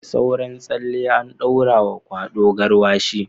Da sauran tsalle an daura wa kwado garwash